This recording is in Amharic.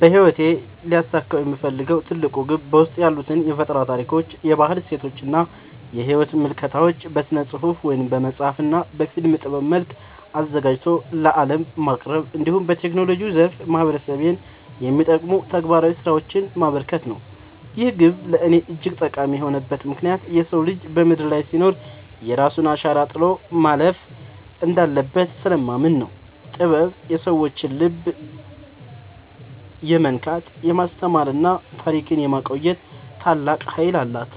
በሕይወቴ ሊያሳካው የምፈልገው ትልቁ ግብ በውስጤ ያሉትን የፈጠራ ታሪኮች፣ የባህል እሴቶችና የሕይወት ምልከታዎች በሥነ-ጽሑፍ (በመጽሐፍ) እና በፊልም ጥበብ መልክ አዘጋጅቶ ለዓለም ማቅረብ፣ እንዲሁም በቴክኖሎጂው ዘርፍ ማኅበረሰቤን የሚጠቅሙ ተግባራዊ ሥራዎችን ማበርከት ነው። ይህ ግብ ለእኔ እጅግ ጠቃሚ የሆነበት ምክንያት የሰው ልጅ በምድር ላይ ሲኖር የራሱን አሻራ ጥሎ ማለፍ እንዳለበት ስለማምን ነው። ጥበብ የሰዎችን ልብ የመንካት፣ የማስተማርና ታሪክን የማቆየት ታላቅ ኃይል አላት፤